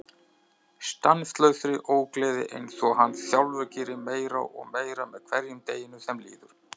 Stanslausri ógleði einsog hann sjálfur gerir meira og meira með hverjum deginum sem líður.